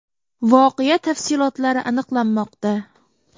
Voqea tafsilotlari aniqlanmoqda.